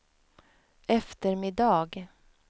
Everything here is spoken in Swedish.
eftermiddag